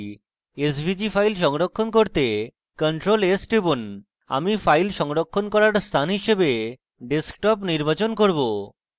svg file সংরক্ষণ করতে ctrl + s টিপুন আমি file সংরক্ষণ করার স্থান হিসাবে desktop নির্বাচন করব